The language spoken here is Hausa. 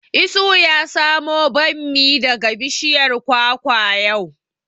Isuhu ya samo bammi daga bishiyar kwakwa yau